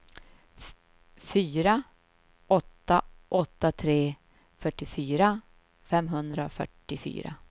fyra åtta åtta tre fyrtiofyra femhundrafyrtiofyra